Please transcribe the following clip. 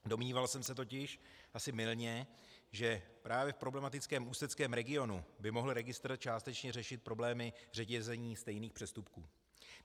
Domníval jsem se totiž asi mylně, že právě v problematickém ústeckém regionu by mohl registr částečně řešit problémy řetězení stejných přestupků.